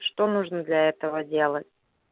что нужно для этого делать